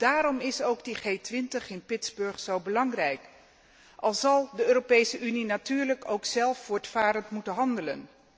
Daarom is ook die G 20 in Pitsburg zo belangrijk, al zal de Europese Unie natuurlijk ook zelf voortvarend moeten handelen.